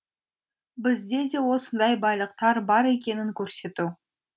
бізде де осындай байлықтар бар екенін көрсету